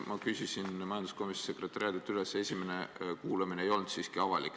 Ma küsisin majanduskomisjoni sekretariaadilt üle ja selgus, et esimene kuulamine siiski ei olnud avalik.